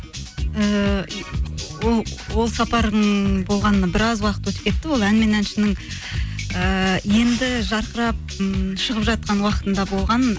ііі ол сапардың болғанына біраз уақыт өтіп кетті ол ән мен әншінің ііі енді жарқырап ммм шығып жатқан уақытында болған